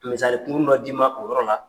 Misali kungurun dɔ d'i ma o yɔrɔ la.